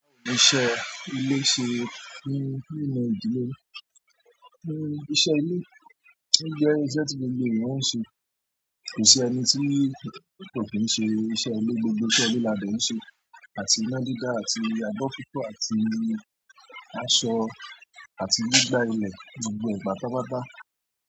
Iṣẹ́ ilé ṣe ní, ní inú ìdílé? Er, iṣẹ́ ilé jẹ́ iṣẹ́ tí gbogbo ènìyàn ń ṣe, kò sí ẹni tí kò kí ń ṣe iṣẹ́ ilé, gbogbo iṣẹ́ ilé lá de ń ṣe. Àti ina dida àti abo fi fo àti aṣọ àti gbigba ile gbogbo e pátápátá.